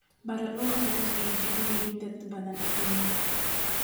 Baradho waa cunto ay jecel yihiin dad badan adduunka.